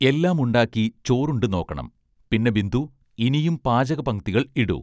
എല്ലാം ഉണ്ടാക്കി ചോറുണ്ടു നോക്കണം പിന്നെ ബിന്ദൂ ഇനിയും പാചകപംക്തികൾ ഇടൂ